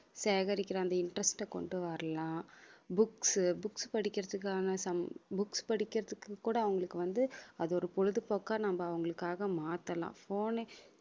சேகரிக்கிற அந்த interest அ கொண்டு வரலாம் books books படிக்கிறதுக்கான some~ books படிக்கிறதுக்கு கூட அவங்களுக்கு வந்து அது ஒரு பொழுதுபோக்கா நம்ம அவங்களுக்காக மாத்தலாம் phone எ